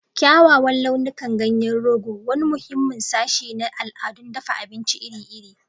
Kyawawan launukan ganyen rogo, wani muhimmin sashi na al'adun dafa abinci iri-iri.